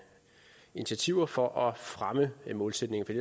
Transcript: initiativer for at fremme målsætningen for